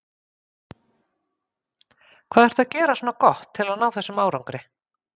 Hvað ertu að gera svona gott til að ná þessum árangri?